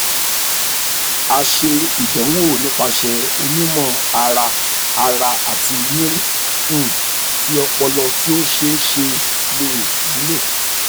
a ṣe idanwo nipasẹ onimọ-ara-ara ati mri um ti ọpọlọ ti o ṣeeṣe le wulo